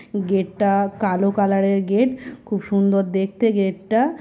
গেটটা কালো কালারের গেট খুব সুন্দর দেখতে গেটটা ।